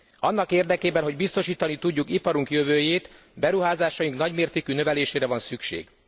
Annak érdekében, hogy biztosítani tudjuk iparunk jövőjét, beruházásaink nagymértékű növelésére van szükség.